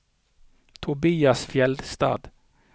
Tobias Fjeldstad